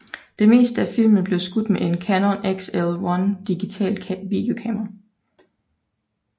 Det meste af filmen blev skudt med et Canon XL1 digitalt videokamera